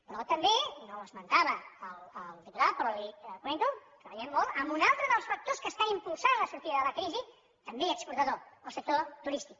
però també no ho esmentava el diputat però li ho comento treballarem molt en un altre dels factors que està impulsant la sortida de la crisi també exportador el sector turístic